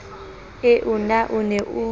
eo na o ne o